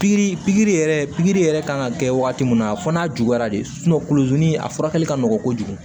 Pikiri pikiri yɛrɛ pikiri yɛrɛ kan ka kɛ wagati min na a fɔ n'a juguyara de kuluzi ni a furakɛli ka nɔgɔ kojugu